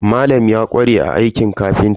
Malam ya ƙware a aikin kafinta.